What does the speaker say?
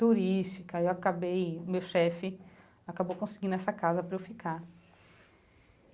turística, eu acabei, meu chefe acabou conseguindo essa casa para eu ficar.